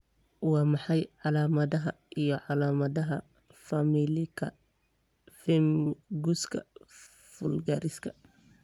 Waa maxay calaamadaha iyo calaamadaha Familialka pemphiguska vulgariska?